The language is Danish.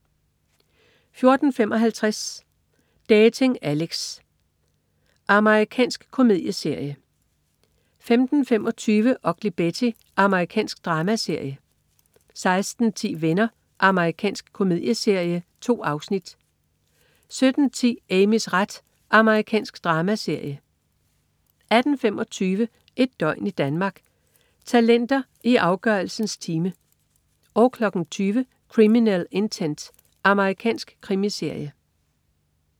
14.55 Dating Alex. Amerikansk komedieserie 15.25 Ugly Betty. Amerikansk dramaserie 16.10 Venner. Amerikansk komedieserie. 2 afsnit 17.10 Amys ret. Amerikansk dramaserie 18.25 Et døgn i Danmark: Talenter i afgørelsens time 20.00 Criminal Intent. Amerikansk krimiserie